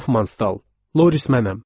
Hofmannstal. Loris mənəm.